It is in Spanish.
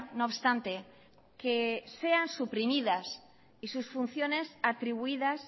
no obstante que sean suprimidas y sus funciones atribuidas